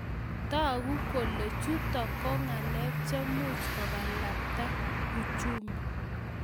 Toku kole chuto ko ngalek chemuch kokalabta uchumi